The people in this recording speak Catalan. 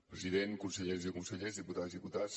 president conselleres i consellers diputades i diputats